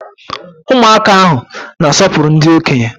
Ụmụaka ahụ na-asọpụrụ ndị okenye.